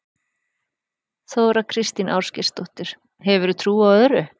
Þóra Kristín Ásgeirsdóttir: Hefurðu trú á öðru?